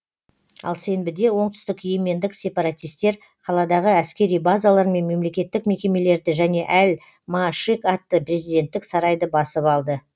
ал сенбіде оңтүстік йемендік сепаратистер қаладағы әскери базалар мен мемлекеттік мекемелерді және әл маашик атты президенттік сарайды басып алды